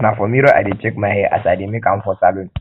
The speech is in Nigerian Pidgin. na for mirror i dey check my hair as i dey make am for salon